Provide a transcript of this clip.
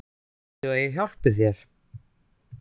Viltu að ég hjálpi þér?